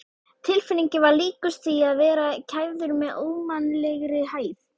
Tilfinningin var líkust því að vera kæfður með ómannlegri hægð.